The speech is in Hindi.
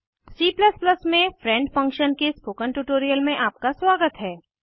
C में फ्रेंड फंक्शन के स्पोकन ट्यूटोरियल में आपका स्वागत है